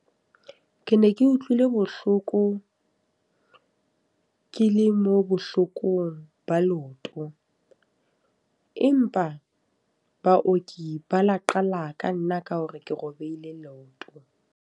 Ke ne ke utlwile bohloko ke le mo bohlokong ba leoto. Empa baoki ba la qala ka nna ka hore ke robehile leoto.